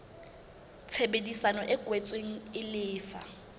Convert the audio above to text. tshebedisano e kwetsweng e lefa